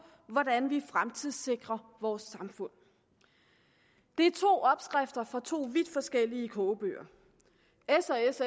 hvordan vi fremtidssikrer vores samfund det er to opskrifter fra to vidt forskellige kogebøger